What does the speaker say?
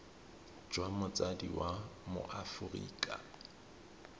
jwa motsadi wa mo aforika